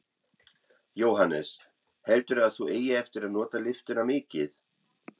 Jóhannes: Heldurðu að þú eigir eftir að nota lyftuna mikið?